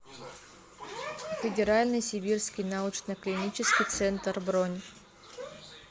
федеральный сибирский научно клинический центр бронь